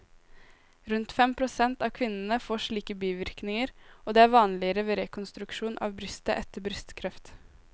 Rundt fem prosent av kvinnene får slike bivirkninger, og det er vanligere ved rekonstruksjon av brystet etter brystkreft.